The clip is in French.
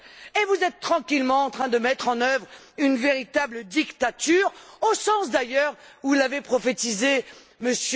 Et vous êtes tranquillement en train de mettre en œuvre une véritable dictature, au sens d'ailleurs où l'avait prophétisé M.